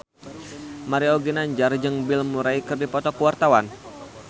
Mario Ginanjar jeung Bill Murray keur dipoto ku wartawan